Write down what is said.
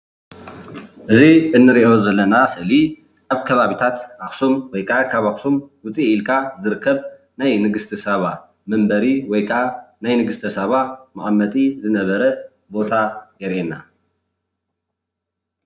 እዚ እንሪኦ ዘለና ስእሊ ኣብ ከባቢታት ኣክሱም ወይከዓ ካብ ኣክሱም ውፅእ ኢልካ ዝርከብ ናይ ንግስተ ሳባ መንበሪ ወይ ከዓ ናይ ንግስተ ሳባ መቀመጢ ዝነበረ ቦታ የርእየና፡፡